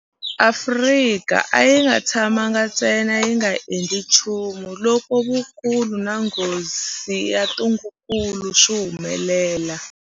Afrika a yi nga tshamangi ntsena yi nga endli nchumu loko vukulu na nghozi ya ntungukulu swi humelela.